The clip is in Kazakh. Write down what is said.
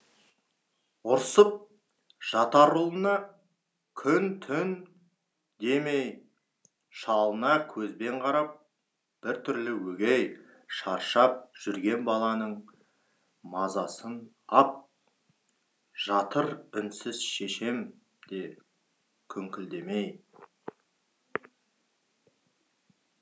ұрсып жатарұлына күн түн демей шалына көзбенқарап біртүрлі өгей шаршап жүргенбаланың мазасын ап жатыр үнсізшешем де күңкілдемей